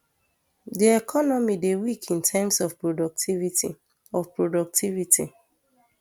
di economy dey weak in terms of productivity of productivity